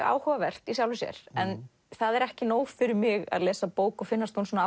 áhugavert í sjálfu sér en það er ekki nóg fyrir mig að lesa bók og finnast hún